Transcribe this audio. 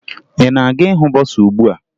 Ị na-aga ịhụ bọsaa ugbua?